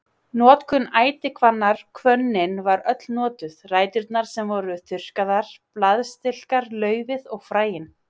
Notkun ætihvannar Hvönnin var öll notuð, ræturnar sem voru þurrkaðar, blaðstilkar, laufið og fræin.